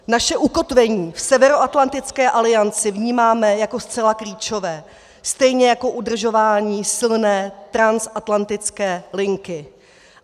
Naše ukotvení v Severoatlantické alianci vnímáme jako zcela klíčové, stejně jako udržování silné transatlantické linky.